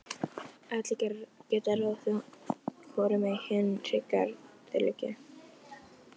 Stefán setti upp svikalausan undrunarsvip og óskaði frekari útlistunar.